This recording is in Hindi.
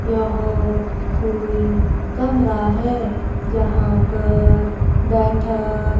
यह कोई कमरा हैं जहाँ पर बैठक--